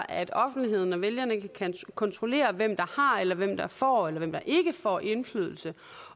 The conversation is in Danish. at offentligheden og vælgerne kan kontrollere hvem der har eller hvem der får eller hvem der ikke får indflydelse